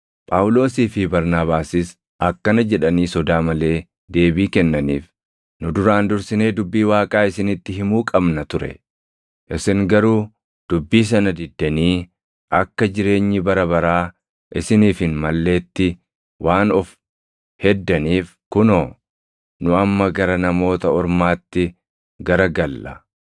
Phaawulosii fi Barnaabaasis akkana jedhanii sodaa malee deebii kennaniif; “Nu duraan dursinee dubbii Waaqaa isinitti himuu qabna ture; isin garuu dubbii sana diddanii akka jireenyi bara baraa isiniif hin malleetti waan of heddaniif kunoo, nu amma gara Namoota Ormaatti gara galla.